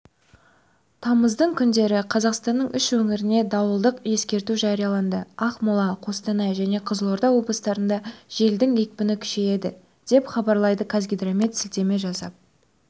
тамыздың күндері қазақстанның үш өңіріне дауылдық ескерту жарияланды ақмола қостанай және қызылорда облыстарында желдің екпіні күшейеді деп хабарлайды қазгидромет сілтеме жасап